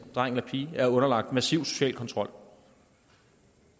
dreng eller pige er underlagt massiv social kontrol